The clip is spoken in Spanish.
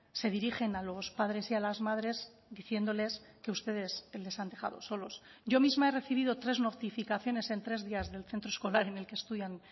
se dirigen a los padres y a las madres diciéndoles que ustedes les han dejado solos yo misma he recibido tres notificaciones en tres días del centro escolar en el que estudian